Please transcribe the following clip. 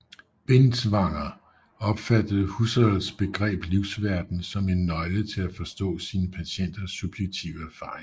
Binswanger opfattede Husserls begreb livsverden som en nøgle til at forstå sine patienters subjektive erfaringer